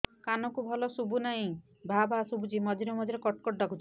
କାନକୁ ଭଲ ଶୁଭୁ ନାହିଁ ଭାଆ ଭାଆ ଶୁଭୁଚି ମଝିରେ ମଝିରେ କଟ କଟ ଡାକୁଚି